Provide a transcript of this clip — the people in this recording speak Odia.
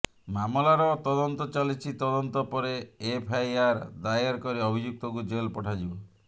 ମାମଲାର ତଦନ୍ତ ଚାଲିଛି ତଦନ୍ତ ପରେ ଏଫଆଇଆର ଦାୟର କରି ଅଭିଯୁକ୍ତକୁ ଜେଲ୍ ପଠାଯିବ